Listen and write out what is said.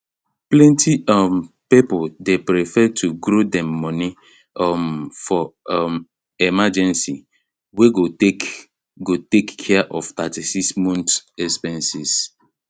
plenty um people dey prefer to grow dem money um for um emergency wey go take go take care of 36 month expenses